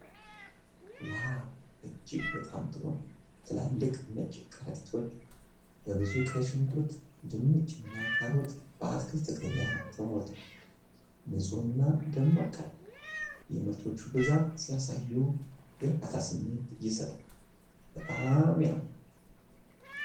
ዋው፣ እጅግ በጣም ጥሩ ነው! ትላልቅ ነጭ ከረጢቶች በብዙ ቀይ ሽንኩርት፣ ድንች እና ካሮት በአትክልት ገበያ ተሞልተዋል። ንጹህና ደማቅ ቀለማት የምርቶቹን ብዛት ሲያሳዩ፣ የእርካታ ስሜት ይሰጣል። በጣም ያምራል።